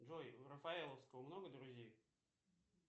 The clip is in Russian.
джой у рафаеловского много друзей